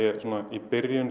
í